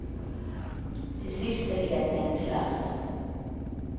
Till sist är det helt meningslöst.